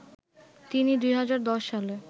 তিনি ২০১০ সালে